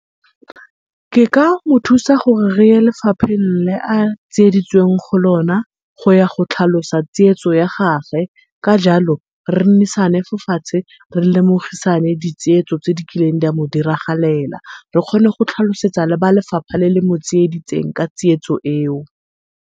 Ke ka mothusa gore reye lefapheng le a tsieditsweng go lona, go ya go tlhalosa tsietso ya gage. Ka jalo re nnisane fo fatshe re lemogisane di tsietso tse di kileng di a mo diragalela, re kgone le go tlhalosetsa ba lefapha le le motsieditseng ka tsietso eo.